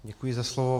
Děkuji za slovo.